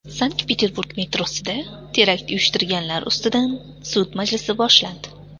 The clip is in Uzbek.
Sankt-Peterburg metrosida terakt uyushtirganlar ustidan sud majlisi boshlandi.